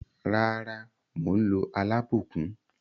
Rara, mo n lo alabukun.